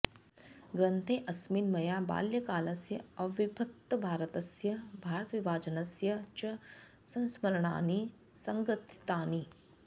ग्रन्थेऽस्मिन् मया बाल्यकालस्य अविभक्तभारतस्य भारतविभाजनस्य च संस्मरणानि सङ्ग्रथितानि